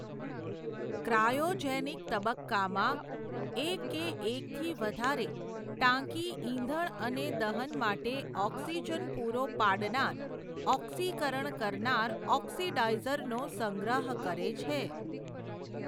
Cryogenic તબક્કામાં એક કે એકથી વધારે, ટાંકી ઇંધણ અને દહન માટે ઓક્સિજન પૂરો પાડનાર, ઓક્સિકરણ કરનાર ઓક્સિડાઇઝર નો સંગ્રહ કરે છે.